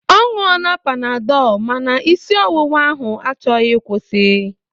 Ọ ṅụọla panadọl ma na isi ọwụwa ahụ achọghị ịkwụsi.